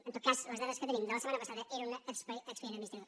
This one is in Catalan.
en tot cas les dades que tenim de la setmana passada eren d’un expedient adminis tratiu